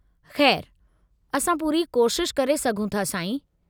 खै़रु, असां पूरी कोशिश करे सघूं था, साईं।